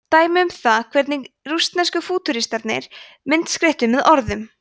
dæmi um það hvernig rússnesku fútúristarnir myndskreyttu með orðum